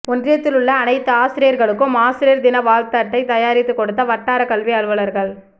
ஒன்றியத்திலுள்ள அனைத்து ஆசிரியர்களுக்கும் ஆசிரியர் தின வாழ்த்து அட்டை தயாரித்து கொடுத்த வட்டாரக்கல்வி அலுவலர்கள்